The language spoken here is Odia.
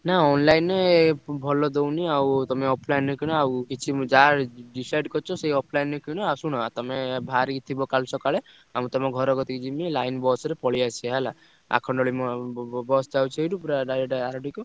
ନା online ଭଲ ଦଉନି ଆଉ ତମେ offline ରୁ କିଣ ଆଉ କିଛି ମୁଁ ଯାହା decide କରିଛ ସେ offline ରୁ କିଣ ଆଉ ଶୁଣ ତମେ ବାହାରିକି ଥିବ କାଲି ସକାଳେ ଆଉ ମୁଁ ତମ ଘର କତିକି ଯିବି line bus ରେ ପଳେଇ ଆସିଆ ହେଲା। ଆଖଣ୍ଡଣି ~ମ ~ବ bus ଯାଉଚି ସେଇଠୁ ପୁରା direct ଆରଡିକୁ।